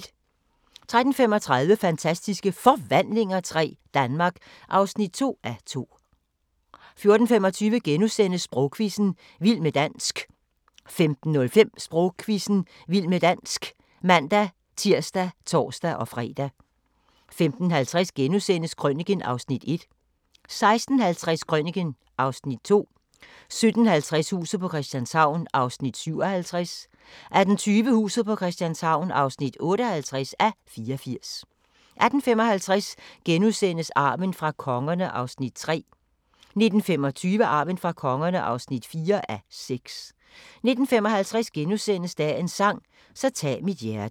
13:35: Fantastiske Forvandlinger III – Danmark (2:2) 14:25: Sprogquizzen – vild med dansk * 15:05: Sprogquizzen – vild med dansk (man-tir og tor-fre) 15:50: Krøniken (Afs. 1)* 16:50: Krøniken (Afs. 2) 17:50: Huset på Christianshavn (57:84) 18:20: Huset på Christianshavn (58:84) 18:55: Arven fra kongerne (3:6)* 19:25: Arven fra kongerne (4:6) 19:55: Dagens sang: Så tag mit hjerte *